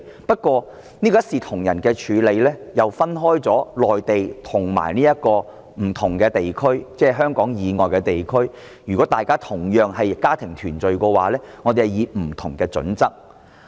不過，這個一視同仁的處理卻分為內地和不同地區，即是如果大家同樣是以家庭團聚為由提出申請的話，我們會用不同準則處理。